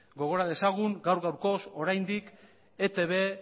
gogora dezagun gaur gaurkoz oraindik etb